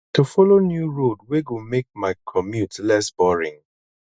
to follow new road wey go make my commute less boring